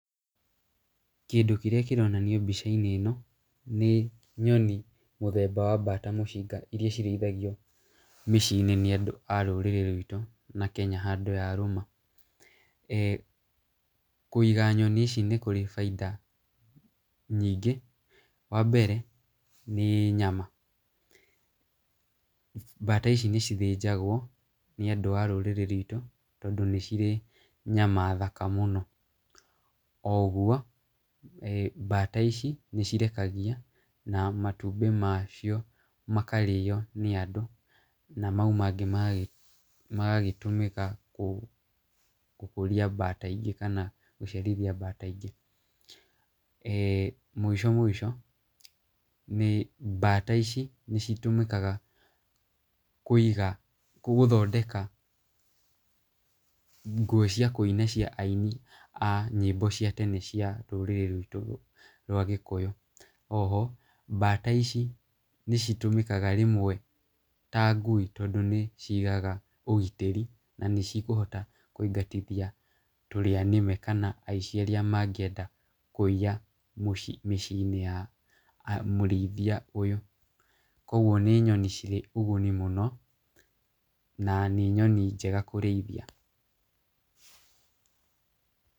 Kĩndũ kĩrĩa kĩronanio mbica-inĩ ĩno, nĩ nyoni mũthemba wa mbata mũcinga iria cirĩithagio mĩciĩ-inĩ nĩ andũ a rũrĩrĩ rwitũ na Kenya handũ yarũma. Kũiga nyoni ici nĩ kũrĩ bainda nyingĩ, wa mbere, nĩ nyama mbata ici nĩcithĩnjagwo nĩ andũ a rũrĩrĩ rwĩtũ, tondũ nĩ cirĩ nyama thaka mũno. Oguo mbata ici nĩcirekagia na matumbĩ macio makarĩyo nĩ andũ na mau mangĩ magagĩtũmĩka gũkũria mbata ingĩ kana gũciarithia mbata ingĩ. Mũico mũico, mbata ici nĩitũmĩkaga kũiga, gũthondeka nguo cia kũina cia aini a nyĩmbo cia tene cia rũrĩrĩ rwĩtũ rwa gĩkũyũ. Oho mbata ici nĩcitũmĩkaga rĩmwe ta ngui, tondũ nĩcigaga ũgitĩri na nĩcikũhota kũingatithia tũrĩa nĩme kana aici arĩa mangĩenda kũiya mĩciĩ-inĩ ya mũrĩithia ũyũ. Koguo nĩ nyoni cirĩ ũguni mũno na nĩ nyoni njega kũrĩithia.